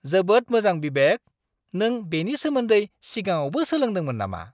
जोबोद मोजां बिबेक! नों बेनि सोमोन्दै सिगाङावबो सोलोंदोंमोन नामा!